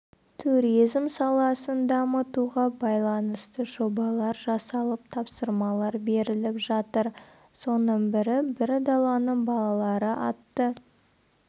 туризм саласын дамытуға байланысты жобалар жасалып тапсырмалар беріліп жатыр соның бірі бір даланың балалары атты